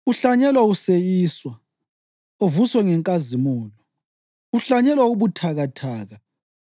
uhlanyelwa useyiswa, uvuswe ngenkazimulo; uhlanyelwa ubuthakathaka,